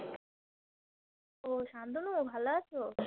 ও শান্তনু ভালো আছো?